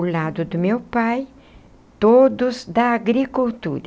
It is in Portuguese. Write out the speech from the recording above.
O lado do meu pai, todos da agricultura.